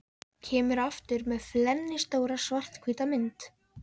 Kemur aftur með flennistóra, svarthvíta mynd.